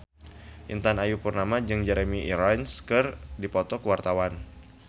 Intan Ayu Purnama jeung Jeremy Irons keur dipoto ku wartawan